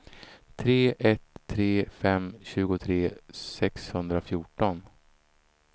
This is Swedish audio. tre ett tre fem tjugotre sexhundrafjorton